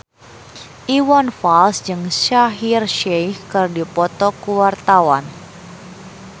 Iwan Fals jeung Shaheer Sheikh keur dipoto ku wartawan